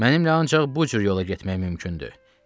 Mənimlə ancaq bu cür yola getmək mümkündür.